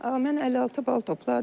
Mən 56 bal topladım.